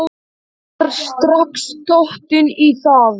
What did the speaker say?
Ég var strax dottin í það.